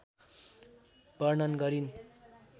वर्णन गरिन्।